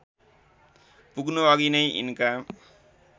पुग्नुअघि नै यिनका